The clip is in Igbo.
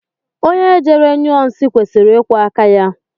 Onye jere nyụọ nsị kwesịrị ịkwọ áká ya.